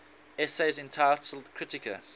essays entitled kritika